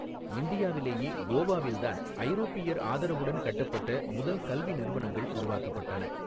இந்தியாவிலேயே கோவாவில் தான் ஐரோப்பியர் ஆதரவுடன் கட்டப்பட்ட முதல் கல்வி நிறுவனங்கள் உருவாக்கப்பட்டன.